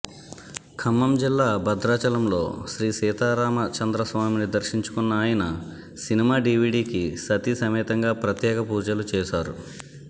ఖమ్మం జిల్లా బద్రాచలం లో శ్రీసీతారామచంద్రస్వామిని దర్శించుకున్న అయన సినిమా డివిడికి సతీసమేతంగా ప్రత్యేకపూజలు చేశారు